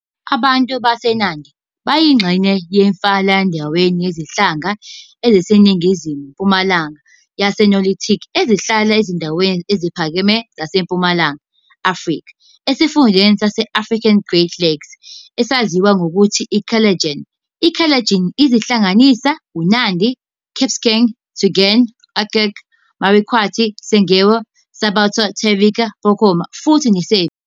Abantu baseNandi bayingxenye yomfelandawonye wezinhlanga eziseningizimu-mpumalanga yeNilotic ezihlala ezindaweni eziphakeme zaseMpumalanga Afrika esifundeni sase-African Great Lakes esaziwa ngokuthi iKalenjin. I Kalenjin zihlanganisa- uNandi, Kipsigis, Tugen, Okiek, Marakwet, Sengwer, Sabaot, Terik, Pokot futhi Sebei.